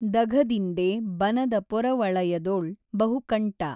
ದಘದಿಂಡೆ ಬನದ ಪೊರವಳಯದೊಳ್ ಬಹುಕಂಟ